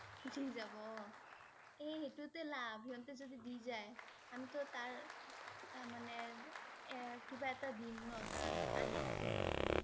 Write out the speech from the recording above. দি যাব অ, এ সেইটোৱেটো লাভ, সিহঁতে যদি দি যায়, আমিটো তাৰ আহ মানে এ~কিবা এটা দিম ন তাক, আনি দিছে বুলি কেনে